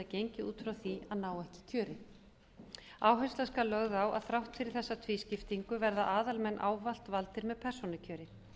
gengið út frá því að ná ekki kjöri áhersla skal lögð á að þrátt fyrir þessa tvískiptingu verða aðalmenn ávallt valdir með persónukjöri